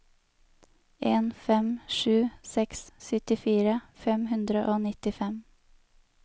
en fem sju seks syttifire fem hundre og nittifem